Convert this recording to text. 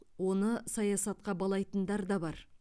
оны саясатқа балайтындар да бар